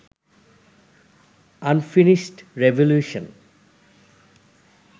unfinished revolution